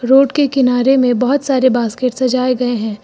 Road के किनारे में बहुत सारे बास्केट सजाए गए हैं।